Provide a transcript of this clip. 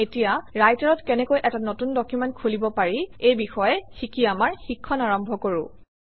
এতিয়া ৰাইটাৰত কেনেকৈ এটা নতুন ডকুমেণ্ট খুলিব পাৰি এই বিষয়ে শিকি আমাৰ শিক্ষণ আৰম্ভ কৰোঁ